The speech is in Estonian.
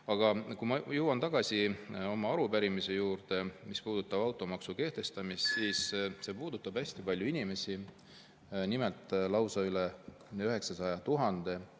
Aga kui ma jõuan tagasi oma arupärimise juurde, mis puudutab automaksu kehtestamist, siis see puudutab hästi paljusid inimesi, lausa üle 900 000.